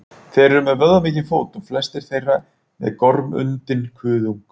Þeir eru með vöðvamikinn fót og flestir þeirra með gormundinn kuðung.